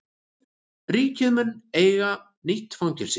Ríkið mun eiga nýtt fangelsi